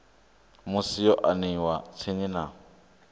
musi yo aniwa tsini na